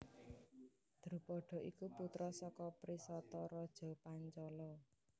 Drupada iku putra saka Prisata raja Pancala